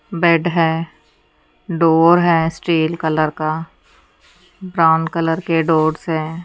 Bed है door है steel colour का ब्राउन कलर के डोर्स हैं।